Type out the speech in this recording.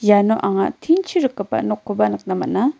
iano anga tin-chi rikgipa nokkoba nikna man·a.